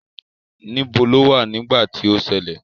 Níbo lo wà nígbà tí ó ṣẹlẹ̀?